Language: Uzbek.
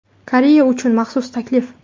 Koreya uchun maxsus taklif.